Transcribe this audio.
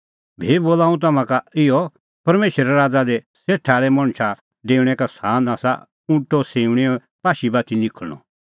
भी बोला हुंह तम्हां का इहअ परमेशरे राज़ा दी सेठा आल़ै मणछो डेऊणैं का सान आसा ऊँटो सिऊंणीए पाशी बाती निखल़णअ